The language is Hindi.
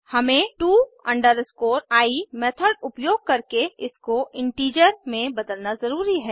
हमें to i मेथड उपयोग करके इसको इन्टिजर में बदलना ज़रूरी है